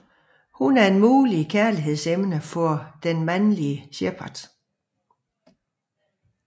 Hun er et muligt kærligheds emne for den mandelige Shepard